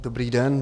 Dobrý den.